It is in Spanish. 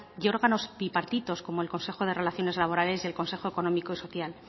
y órganos bipartitos como el consejo de relaciones laborales y el consejo económico y social